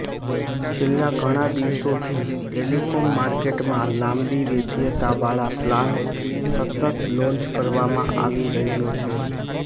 છેલ્લા ઘણા દિવસોથી ટેલીકોમ માર્કેટમાં લાંબી વૈધતા વાળા પ્લાન સતત લોન્ચ કરવામાં આવી રહ્યો છે